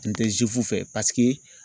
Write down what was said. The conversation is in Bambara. N tɛ fɛ paseke.